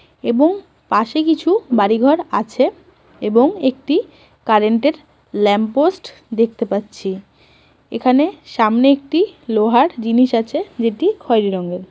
এবং পাশে কিছু বাড়িঘর আছেএবং একটি কারেন্ট -এর ল্যাম্প পোস্ট দেখতে পাচ্ছি এখানে সামনে একটি লোহার জিনিস আছে যেটি খয়রি রঙের ।